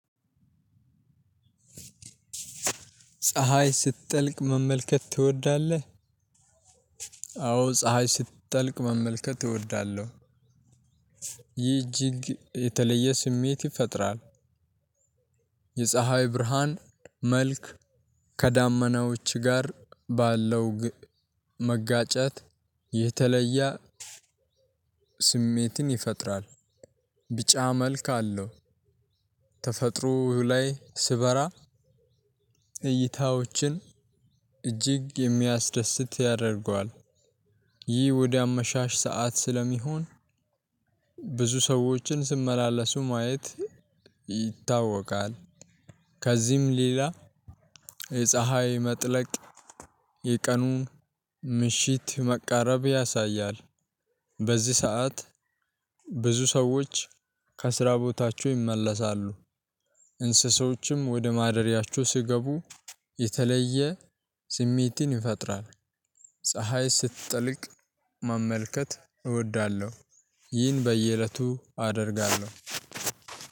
ፀሀይ? ስትጠልቅ መመልከት ትወዳለህ? አዎ ፀሀይ ስትጠልቅ መመልከት እወዳለሁ። ይህ እጅግ የተለየ ስሜት ይፈጥራል። የፀሀይ ብርሃን መልክ ከዳመናዎች ጋር ባለው መጋጨት የተለየ ስሜትን ይፈጥራል። ቢጫ መልክ አለው። ተፈጥሮ ላይ ሲበራ እይታዎችን እጅግ የሚያስደስት ያደርገዋል። ይህ ወደ አመሻሽ ሰዓት ስለሚሆን ብዙ ሰዎችን ሲመላለሱ ማየት ይታወቃል። ከዚህም ሌላ የፀሀይ መጥለቅ የቀኑ ምሽት መቃረብ ያሳያል። በዚህ ሰዓት ብዙ ሰዎች ከስራ ቦታቸው ይመለሳሉ። እንስሶችም ወደ ማደሪያቸው ሲገቡ የተለየ ስሜትን ይፈጥራል። ፀሀይ ስትጠልቅ መመልከት እወዳለሁ። ይህን በየእለቱ አደርጋለሁ።